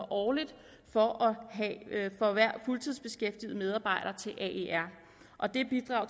årligt for hver fuldtidsbeskæftigede medarbejder og det bidrag